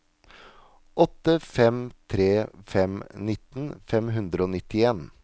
åtte fem tre fem nitten fem hundre og nittien